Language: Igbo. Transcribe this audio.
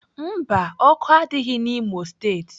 Mba, ọkụ adịghị n'Imo steeti.